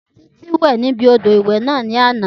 Títí wẹ̀ níbi odò ìwẹ̀ náà ní àná